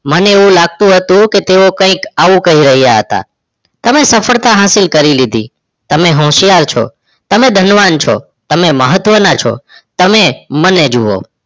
મને એવુ લાગતુ હતુ તે આવુ કઈક આવું કહી રહીયા હતા. તમે સફલતા હાશિલ કરી લીધી. તમે હોશિયાર છો. તમે ધનવાન છો. તમે મહત્વના છો. તમે મને જુઓ.